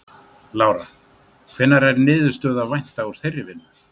Lára: Hvenær er niðurstöðu að vænta úr þeirri vinnu?